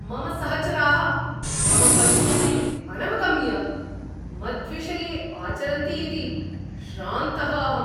मम सहचराः मम परिस्थितिं अनवगम्य मद्विषये आचरन्ति इति श्रान्तः अहम्।